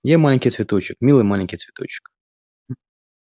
я маленький цветочек милый маленький цветочек